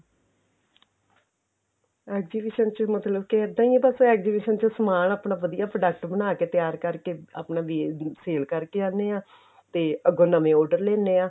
exhibition ਚ ਮਤਲਬ ਕੀ ਇੱਦਾਂ ਹੀ ਏ ਬੱਸ ਕੀ ਸਮਾਨ ਆਪਣਾ ਵਧੀਆ product ਬਣਾ ਕੇ ਤਿਆਰ ਕਰਕੇ ਆਪਣਾ ਵੀ sale ਕਰਕੇ ਆਉਨੇ ਆ ਤੇ ਅੱਗੋਂ ਨਵੇਂ order ਲੈਨੇ ਆ